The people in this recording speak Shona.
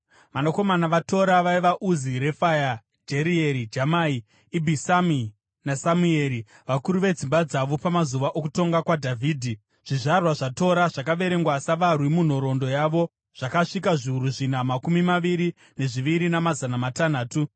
Vanakomana vaTora vaiva: Uzi, Refaya, Jerieri, Jamai, Ibhisami naSamueri, vakuru vedzimba dzavo. Pamazuva okutonga kwaDhavhidhi, zvizvarwa zvaTora zvakaverengwa savarwi munhoroondo yavo zvakasvika zviuru zvina makumi maviri nezviviri namazana matanhatu.